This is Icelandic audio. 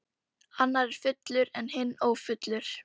Annar er fullur en hinn ófullur.